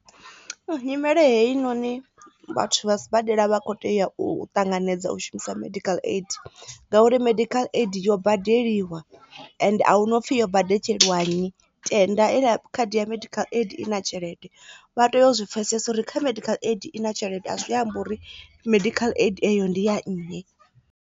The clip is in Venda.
Nyimele heyi noni vhathu vha sibadela vha kho tea u ṱanganedza u shumisa medical aid ngauri medical aid yo badeliwa ende ahuna upfhi yo badetsheliwa nnyi tenda i khadi ya medical aid i na tshelede vha tea u zwi pfesesa uri kha medical aid i na tshelede a zwi ambi uri medical aid eyo ndi ya nnyi.